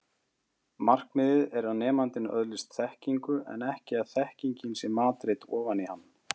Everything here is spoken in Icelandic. Markmiðið er að nemandinn öðlist þekkingu en ekki að þekkingin sé matreidd ofan í hann.